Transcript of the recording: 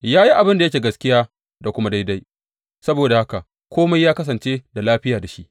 Ya yi abin da yake gaskiya da kuma daidai saboda haka kome ya kasance da lafiya da shi.